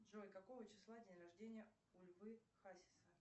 джой какого числа день рождения у львы хасиса